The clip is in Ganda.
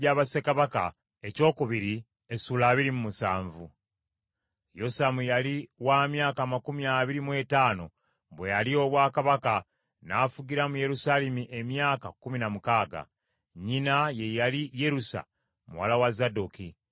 Yosamu yali wa myaka amakumi abiri mu etaano, bwe yalya obwakabaka, n’afugira mu Yerusaalemi emyaka kkumi na mukaaga. Nnyina ye yali Yerusa muwala wa Zadooki.